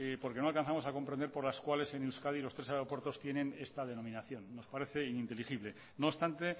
porque no alcanzamos a comprender por las cuales en euskadi los tres aeropuertos tienen esta denominación nos parece ininteligible no obstante